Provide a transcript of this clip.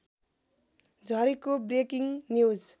झरेको breaking news